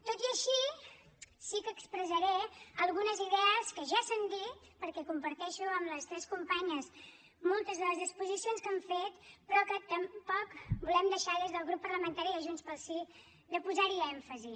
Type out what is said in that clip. tot i així sí que expressaré algunes idees que ja s’han dit perquè comparteixo amb les tres companyes moltes de les exposicions que han fet però que tampoc volem deixar des del grup parlamentari de junts pel sí de posar hi èmfasi